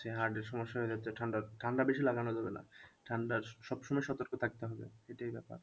Heart এর সমস্যা হয়ে যাচ্ছে ঠান্ডা, ঠান্ডা বেশি লাগানো যাবে না ঠান্ডার সবসময় সতর্ক থাকতে হবে এটাই ব্যাপার